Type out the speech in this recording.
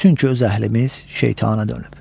Çünki öz əhlimiz şeytana dönüb.